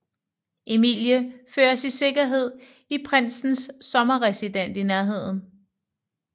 Emilie føres i sikkerhed i prinsens sommerresidens i nærheden